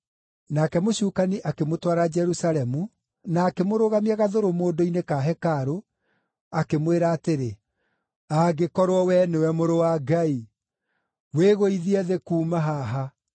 Nake mũcukani akĩmũtwara Jerusalemu, na akĩmũrũgamia gathũrũmũndũ-inĩ ka hekarũ, akĩmwĩra atĩrĩ, “Angĩkorwo wee nĩwe Mũrũ wa Ngai, wĩgũithie thĩ kuuma haha.